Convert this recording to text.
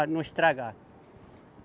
Para não estragar.